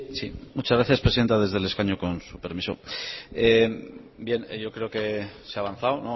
sí sí muchas gracias presidenta desde el escaño con su permiso bien yo creo que se ha avanzado